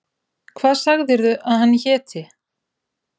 Hvað sagðirðu að hann héti?